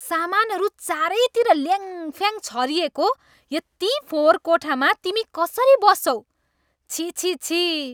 सामानहरू चारैतिर ल्याङफ्याङ छरिएको यति फोहोर कोठामा तिमी कसरी बस्छौ? छिः छिः छिः।